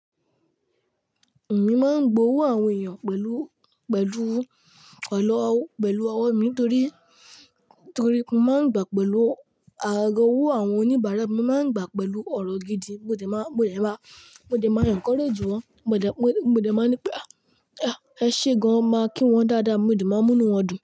Èmi máa ń gbowó àwọn èèyàn pẹ̀lú, pẹ̀lú, pẹ̀lú ọwọ́ mi ni torí, torí mo máa ń gbà pẹ̀lú agaga owó àwọn oníbàárà. Mo máa ń gbà pẹ̀lú ọ̀rọ̀ gidi, mo dẹ̀ má, mo dẹ̀ má, mo dẹ̀ máa encourage wọ́n. Mo dẹ̀, mo dẹ̀, mo dẹ̀ máa ń ní pé "à, ẹ ṣé gan." Ma kí wọ́n dáadáa, mo dẹ̀ máa ń mú inú wọn dùn.